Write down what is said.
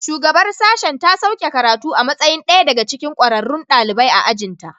Shugabar sashen ta sauke karatu a matsayin ɗaya daga cikin ƙwararrun ɗalibai a ajin ta